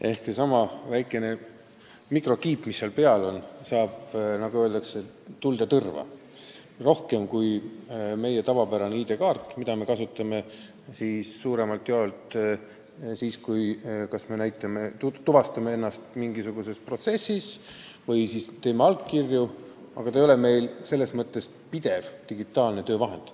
Ehk seesama väike mikrokiip, mis seal peal on, saab n-ö tuld ja tõrva rohkem kui meie tavapärane ID-kaart, mida me kasutame suuremalt jaolt siis, kui me tuvastame ennast mingisuguses protsessis või anname allkirju – see ei ole meil pidevalt digitaalne töövahend.